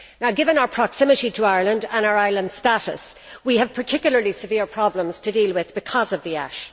Given our proximity to Iceland and our island status, we have particularly severe problems to deal with because of the ash.